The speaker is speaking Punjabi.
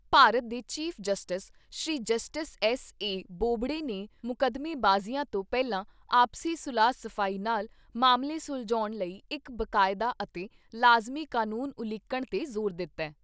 ਭਾਰਤ ਦੇ chief justice Shri justice S A Bobde ਨੇ ਮੁਕੱਦਮੇਬਾਜੀਆਂ ਤੋਂ ਪਹਿਲਾਂ ਆਪਸੀ ਸੁਲਹ ਸਫ਼ਾਈ ਨਾਲ਼ ਮਾਮਲੇ ਸੁਲਝਾਉਣ ਲਈ ਇਕ ਬਾਕਾਯਦਾ ਅਤੇ ਲਾਜਮੀ ਕਨੂੰਨ ਉਲੀਕਣ ਤੇ ਜ਼ੋਰ ਦਿੱਤਾ ।